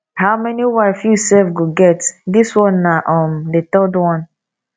how many wife you sef go get dis one na um the third one